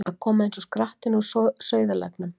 Að koma eins og skrattinn úr sauðarleggnum